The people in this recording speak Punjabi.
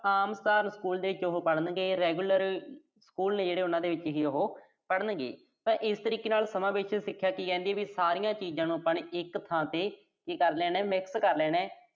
ਆਮ ਸਧਾਰਨ schools ਦੇ ਵਿੱਚ ਉਹ ਪੜ੍ਹਨਗੇ। regular schools ਨੇ ਜਿਹੜੇ, ਉਨ੍ਹਾਂ ਦੇ ਵਿੱਚ ਹੀ ਉਹ ਪੜ੍ਹਨਗੇ। ਤਾਂ ਇਸ ਤਰੀਕੇ ਦੇ ਨਾਲ ਸਮਾਵੇਸ਼ੀ ਸਿੱਖਿਆ ਕੀ ਕਹਿੰਦੀ ਆ, ਵੀ ਸਾਰੀਆਂ ਚੀਜ਼ਾਂ ਨੂੰ ਆਪਾਂ ਇੱਕ ਥਾਂ ਤੇ ਹੀ ਕਰ ਲੈਣਾ, mix ਕਰ ਲੈਣਾ।